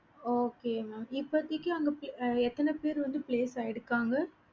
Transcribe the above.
okay mam இப்போதைக்கு அங்க எத்தன பேரு place ஆகிருகாங்க